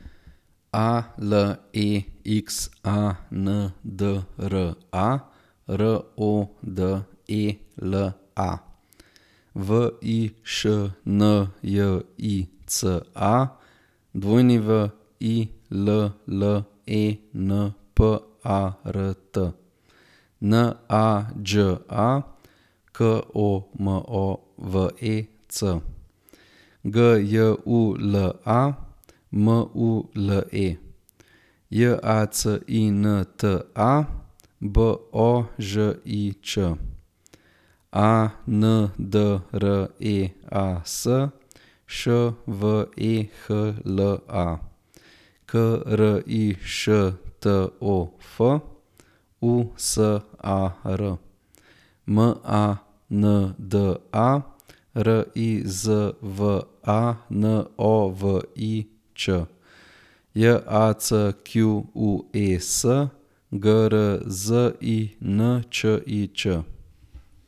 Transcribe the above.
Alexandra Rodela, Višnjica Willenpart, Nađa Komovec, Gyula Mule, Jacinta Božič, Andreas Švehla, Krištof Usar, Manda Rizvanović, Jacques Grzinčič.